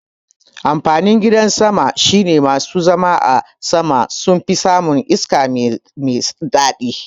Amfanin gidan sama shine masu zama a sama sunfi samun iska mai daɗi